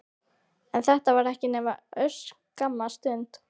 En þetta varir ekki nema örskamma stund.